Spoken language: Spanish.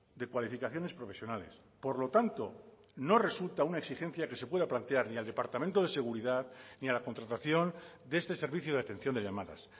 de cualificaciones profesionales por lo tanto no resulta una exigencia que se pueda plantear ni al departamento de seguridad ni a la contratación de este servicio de atención de llamadas